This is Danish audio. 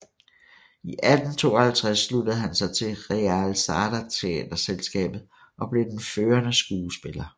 I 1852 sluttede han sig til Reale Sarda teaterselskabet og blev den førende skuespiller